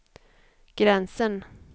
gränsen